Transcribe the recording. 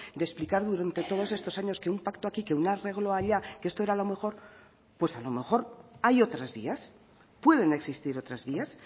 de explicar durante todos estos años que un pacto aquí que un arreglo allá que esto era lo mejor pues a lo mejor hay otras vías pueden existir otras vías